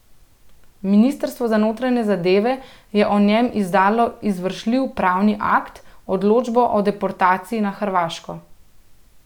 Ministrstvo za notranje zadeve je o njem izdalo izvršljiv pravni akt, odločbo o deportaciji na Hrvaško.